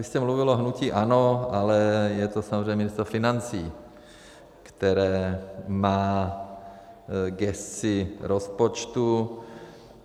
Vy jste mluvil o hnutí ANO, ale je to samozřejmě Ministerstvo financí, které má gesci rozpočtu.